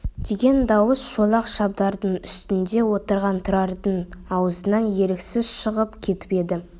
деген дауыс шолақ шабдардың үстінде отырған тұрардың аузынан еріксіз шығып кетіп еді